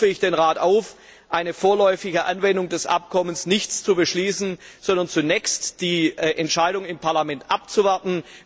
Deshalb rufe ich den Rat auf, keine vorläufige Anwendung des Abkommens zu beschließen, sondern zunächst die Entscheidung des Parlaments abzuwarten.